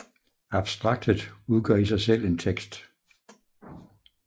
Abstraktet udgør i sig selv en tekst